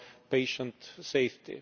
patient safety,